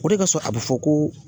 O de kasɔ a bɛ fɔ ko